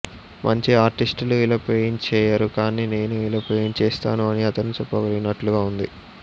మంచి ఆర్టిస్టులు ఇలా పెయింట్ చేయరు కానీ నేను ఇలా పెయింట్ చేస్తాను అని అతను చెప్పగలిగినట్లుగా ఉంది